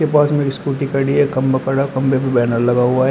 पास में स्कूटी खड़ी है खंबा खड़ा है खंभे पर बैनर लगा हुआ है।